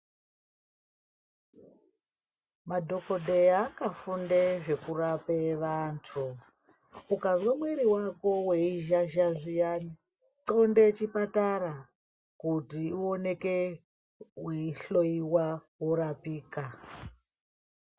Madhokodheya akafunde zvekurape vantu. Ukazwe mwiri wako weizhazha zviyani, xonde chipatara kuti uoneke weihloiwa, worapika.